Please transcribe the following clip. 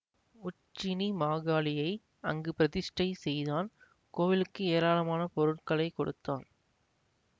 உச்சினிமாகாளியை அங்கு பிரதிஷ்டை செய்தான் கோவிலுக்கு ஏராளமான பொருட்களை கொடுத்தான்